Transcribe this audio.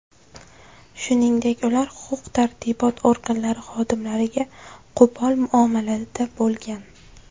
Shuningdek ular huquq-tartibot organlari xodimlariga qo‘pol muomalada bo‘lgan.